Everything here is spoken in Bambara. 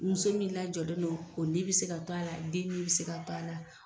Muso min lajɔlen don o ni be se ka to ala den ni be se ka to a la